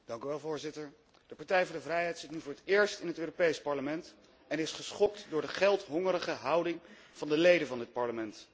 Voorzitter, de Partij voor de Vrijheid zit nu voor het eerst in het Europees Parlement en is geschokt over de geldbeluste houding van de leden van het Parlement.